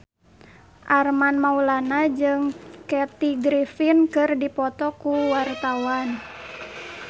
Armand Maulana jeung Kathy Griffin keur dipoto ku wartawan